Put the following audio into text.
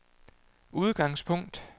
udgangspunkt